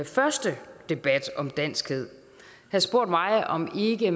første debat om danskhed havde spurgt mig om man ikke